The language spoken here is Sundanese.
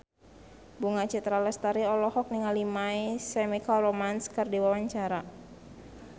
Bunga Citra Lestari olohok ningali My Chemical Romance keur diwawancara